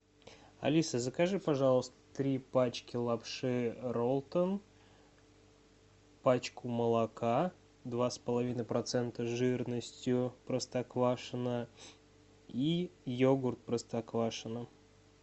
алиса закажи пожалуйста три пачки лапши ролтон пачку молока два с половиной процента жирностью простоквашино и йогурт простоквашино